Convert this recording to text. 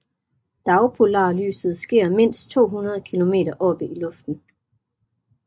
Dagpolarlyset sker mindst 200 km oppe i luften